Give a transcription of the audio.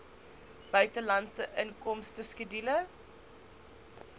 buitelandse inkomste skedule